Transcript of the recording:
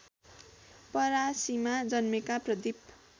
परासीमा जन्मेका प्रदिप